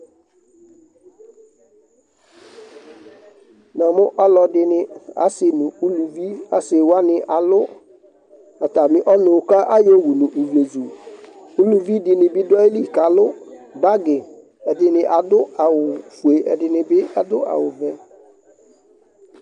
Namʋ ɔlɔdɩnɩ asɩ nʋ uluvi Asɩ wanɩ alʋ atamɩ ɔnʋ kʋ ayɔwu nʋ ivlezu Uluvi dɩnɩ bɩ dʋ ayili kʋ alʋ bagɩ, ɛdɩnɩ adʋ awʋfue, ɛdɩnɩ bɩ adʋ awʋvɛ